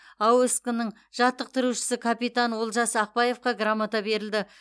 аоск ның жаттықтырушысы капитан олжас ақбаевқа грамота берілді